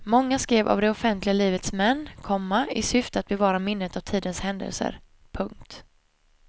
Många skrevs av det offentliga livets män, komma i syfte att bevara minnet av tidens händelser. punkt